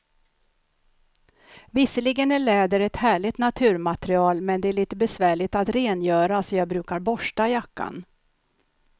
Visserligen är läder ett härligt naturmaterial, men det är lite besvärligt att rengöra, så jag brukar borsta jackan.